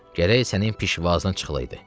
Gərək sənin pişvazına çıxılaydı.